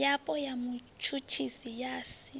yapo ya mutshutshisi ya si